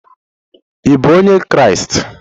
Ị bụ onye Kraịst?